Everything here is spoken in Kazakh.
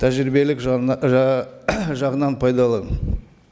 тәжірибелік жағынан пайдалы